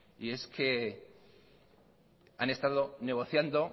y es que han estado negociando